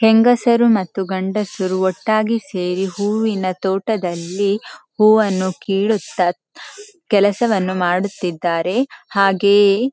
ಹೆಂಗಸರು ಮತ್ತು ಗಂಡಸರು ಒಟ್ಟಾಗಿ ಸೇರಿ ಹೂವಿನ ತೋಟದಲ್ಲಿ ಹೂವನ್ನು ಕೀಳುತ್ತ ಕೆಲಸವನ್ನು ಮಾಡುತ್ತಿದ್ದಾರೆ ಹಾಗೆಯೇ--